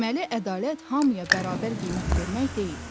Deməli ədalət hamıya bərabər qiymət vermək deyil.